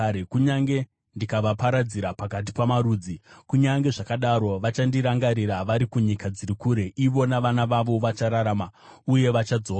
Kunyange ndikavaparadzira pakati pamarudzi, kunyange zvakadaro vachandirangarira vari kunyika dziri kure. Ivo navana vavo vachararama, uye vachadzoka.